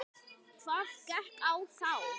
Hvað gekk á þá?